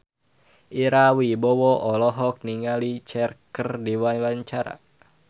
Ira Wibowo olohok ningali Cher keur diwawancara